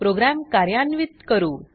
programme कार्यान्वीत करू